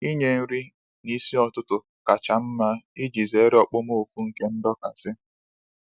Inye nri n'isi ụtụtụ kacha mma iji zere okpomọkụ nke ndọkasị